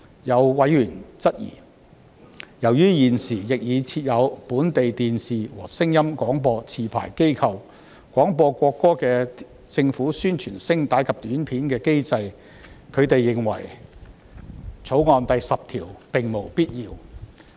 有委員質疑，由於現時亦已設有本地電視和聲音廣播持牌機構，廣播國歌的政府宣傳聲帶及短片的機制，他們認為《條例草案》第10條並無必要。